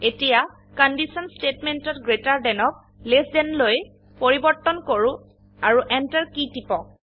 এতিয়া conditionস্তেটমেন্টত greater than ক লেছ থান লৈ পৰিবৰ্তন কৰো আৰু এন্টাৰকী টিপক